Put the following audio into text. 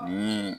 Ni